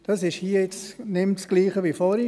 Hier ist es nicht mehr dasselbe wie vorhin.